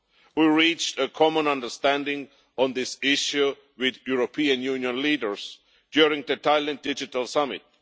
We reached a common understanding on this issue with European Union leaders during the Tallinn Digital Summit.